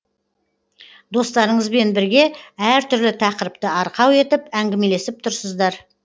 достарыңызбен бірге әр түрлі тақырыпты арқау етіп әңгімелесіп тұрсыздар